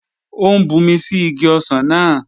Ó ń bumi sí igi ọsàn náà